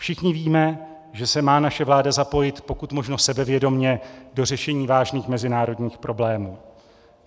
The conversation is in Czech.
Všichni víme, že se má naše vláda zapojit pokud možno sebevědomě do řešení vážných mezinárodních problémů.